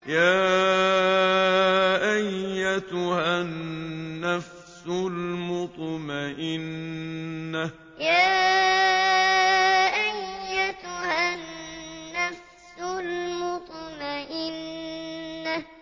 يَا أَيَّتُهَا النَّفْسُ الْمُطْمَئِنَّةُ يَا أَيَّتُهَا النَّفْسُ الْمُطْمَئِنَّةُ